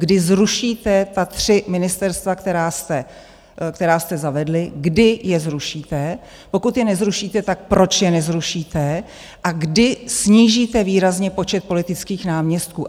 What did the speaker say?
Kdy zrušíte ta tři ministerstva, která jste zavedli, kdy je zrušíte, pokud je nezrušíte, tak proč je nezrušíte a kdy snížíte výrazně počet politických náměstků?